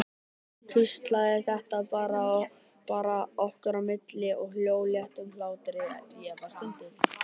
Hún hvíslaði, þetta var bara okkar á milli, og hló léttum hlátri, ég stundi.